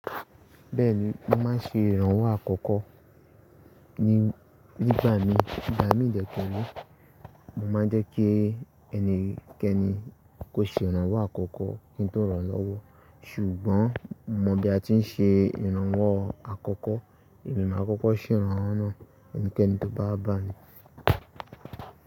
Bẹ́ẹ̀ni, mo máa ń ṣe ìrànwọ́ àkọ́kọ́ nígbà míì díẹ̀ pẹ̀lú. Mo máa ń jẹ́ kí ẹnikẹ́ni kó ṣe ìrànwọ́ àkọ́kọ́ kí n tó ràn lọ́wọ́. Ṣùgbọ́n mo mọ bí a ti ń ṣe ìrànwọ́ àkọ́kọ́, èmi máa ń kọ́kọ́ ṣe ìrànwọ́ náà ẹnikẹ́ni tó bá bá mi.